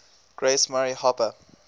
grace murray hopper